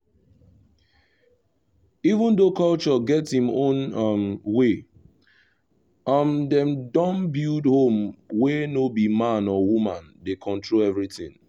even though culture get him own um way um dem don build home wey no be man or woman dey control everything